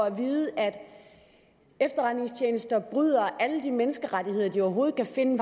at vide at efterretningstjenester bryder alle de menneskerettigheder de overhovedet kan finde